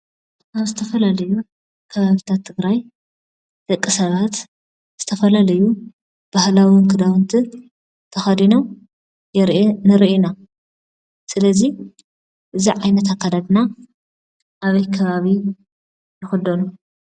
ኣብ ዝተፈላለዩ ከባቢታት ትግራይ ደቂ ሰባት ዝተፈላለዩ ባህላዊን ክዳውንቲ ተኸዲኖም ንርኢ ኢና። ስለዚ እዚ ዓይነት ኣካዳድና ኣበይ ከባቢ ይኽደኑ?